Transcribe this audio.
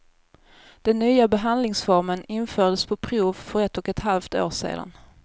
Den nya behandlingsformen infördes på prov för ett och ett halvt år sedan.